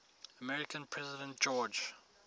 american president george